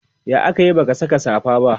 ya akayi baka Saka safa ba?